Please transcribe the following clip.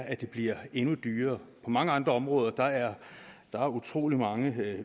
at det bliver endnu dyrere på mange andre områder er der utrolig mange